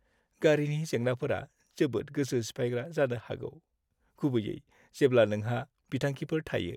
गारिनि जेंनाफोरा जोबोद गोसो सिफायग्रा जानो हागौ, गुबैयै जेब्ला नोंहा बिथांखिफोर थायो।